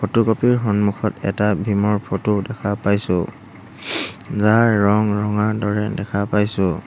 Photocopy ৰ সন্মুখত এটা বিম ৰ ফটো দেখা পাইছোঁ যাৰ ৰং ৰঙাৰ দৰে দেখা পাইছোঁ।